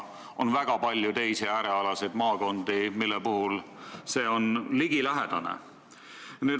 On palju ka teisi äärealadel asuvaid maakondi, mille puhul need käärid on ligilähedased.